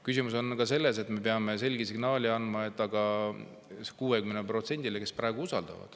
Küsimus on selleski, et me peame selge signaali andma ka 60%-le, kes praegu usaldavad.